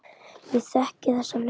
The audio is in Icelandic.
Ég þekki þessa leið.